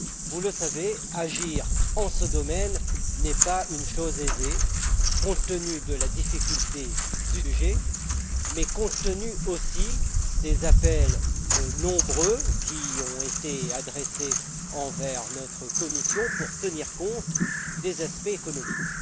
Vous le savez, agir dans ce domaine n'est pas une chose aisée, compte tenu de la difficulté du sujet, mais compte tenu aussi des nombreux appels qui ont été adressés à notre commission pour tenir compte des aspects économiques.